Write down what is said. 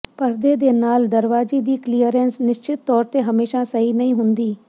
ਪਰਦੇ ਦੇ ਨਾਲ ਦਰਵਾਜ਼ੇ ਦੀ ਕਲੀਅਰੈਂਸ ਨਿਸ਼ਚਿਤ ਤੌਰ ਤੇ ਹਮੇਸ਼ਾ ਸਹੀ ਨਹੀਂ ਹੁੰਦੀ